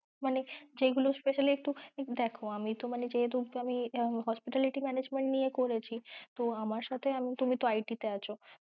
মানে যেইগুলো specially একটু দেখো, আমি তো মানে যেহেতু আমি hospitality management নিয়ে করেছি তো আমার সাথে মানে তুমি তো IT তে আছো ।